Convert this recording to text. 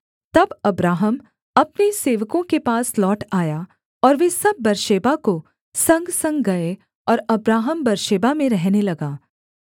तब अब्राहम अपने सेवकों के पास लौट आया और वे सब बेर्शेबा को संगसंग गए और अब्राहम बेर्शेबा में रहने लगा